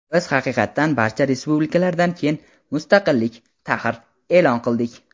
Biz haqiqatan barcha respublikalardan keyin (mustaqillik – tahr.) e’lon qildik.